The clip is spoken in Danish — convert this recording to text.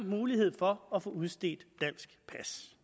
mulighed for at få udstedt dansk pas